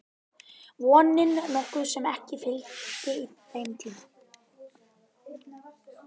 Vonin nokkuð sem ekki fylgdi þeim tíma.